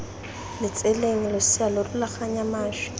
letseleng losea lo rulaganya mašwi